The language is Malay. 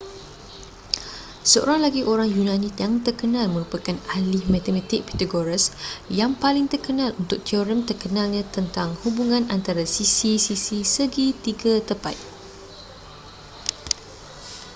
seorang lagi orang yunani yang terkenal merupakan ahli matematik pythagoras yang paling terkenal untuk teorem terkenalnya tentang hubungan antara sisi-sisi segi tiga tepat